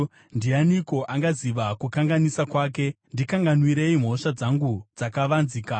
Ndianiko angaziva kukanganisa kwake? Ndikanganwirei mhosva dzangu dzakavanzika.